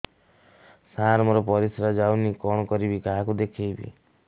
ସାର ମୋର ପରିସ୍ରା ଯାଉନି କଣ କରିବି କାହାକୁ ଦେଖେଇବି